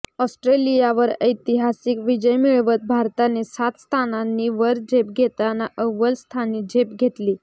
ऑस्ट्रेलियावर ऐतिहासिक विजय मिळवत भारताने सात स्थानांनी वर झेप घेताना अव्वल स्थानी झेप घेतली